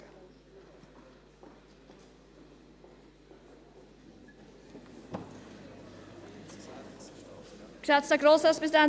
Es gibt einen Antrag der FiKo-Minderheit gegen einen Antrag des Regierungsrates.